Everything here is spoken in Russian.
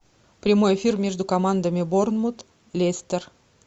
прямой эфир между командами борнмут лестер